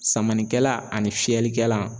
Samanikɛla ani fiyɛlikɛla.